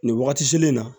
Nin wagati in na